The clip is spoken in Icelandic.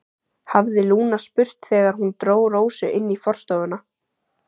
hafði Lúna spurt þegar hún dró Rósu inn í forstofuna.